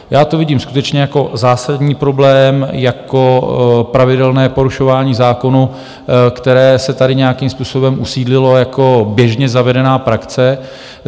Já to vidím skutečně jako zásadní problém, jako pravidelné porušování zákona, které se tady nějakým způsobem usídlilo jako běžně zavedená praxe.